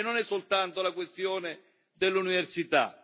E non è soltanto la questione dell'università.